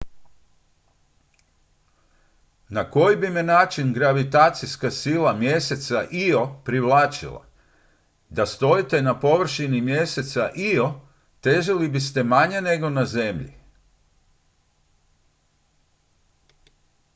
na koji bi me način gravitacijska sila mjeseca io privlačila da stojite na površini mjeseca io težili biste manje nego na zemlji